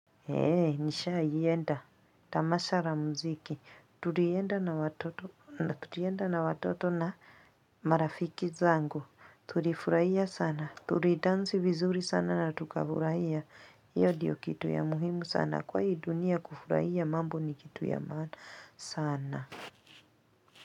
Ei, nishawahienda. Tamasha la muziki. Tulienda na Tulienda na watoto na marafiki zangu. Tulifurahia sana. Tulidansi vizuri sana na tukafurahia. Hiyo ndiyo kitu ya muhimu sana. Kwa hii dunia kufurahia mambo ni kitu ya maana sana.